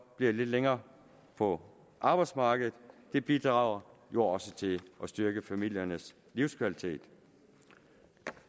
bliver lidt længere på arbejdsmarkedet bidrager jo også til at styrke familiernes livskvalitet